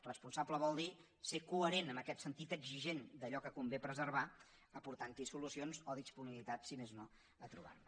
responsable vol dir ser coherent en aquest sentit exigent d’allò que convé preservar aportant hi solucions o disponibilitat si més no a trobar ne